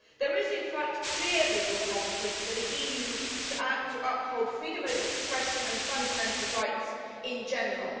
There is, in fact, a clear legal competence for the EU to act to uphold freedom of expression and fundamental rights in general.